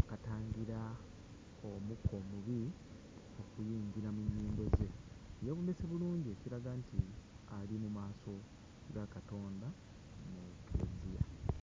akatangira omukka omubi okuyingira mu nnyindo ze yeewombeese bulungi ekiraga nti ali mu maaso ga Katonda mu kkereziya.